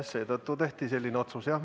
Seetõttu tehti selline otsus.